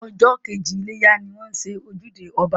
Ọjọ́ kejì iléyá ni wọ́n ń ṣe ojúde ọba